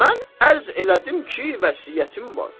mən ərz elədim ki, vəsiyyətim var.